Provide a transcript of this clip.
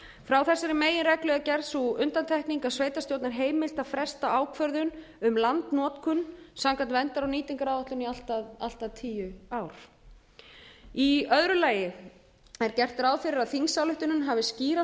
frá þessari meginreglu er gerð sú undantekning að sveitarstjórn er heimilt að fresta ákvörðun um landnotkun samkvæmt verndar og nýtingaráætlun í allt að tíu ár í öðru lagi er gert ráð fyrir að þingsályktunin hafi skýra